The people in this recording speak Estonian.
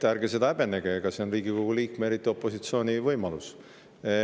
Ärge seda häbenege, see on Riigikogu liikme, eriti opositsiooni võimalus.